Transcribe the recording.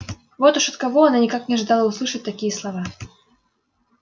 вот уж от кого она никак не ожидала услышать такие слова